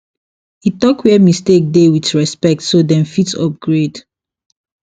e talk where mistake dey with respect so dem fit upgrade